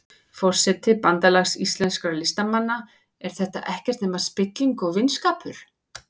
Forseti Bandalags íslenskra listamanna, er þetta ekkert nema spilling og vinskapur?